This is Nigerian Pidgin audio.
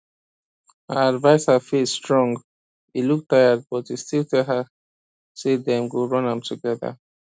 her adviser face strong e look tired but e still tell her say dem go run am together